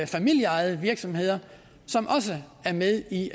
familieejede virksomheder som også er med i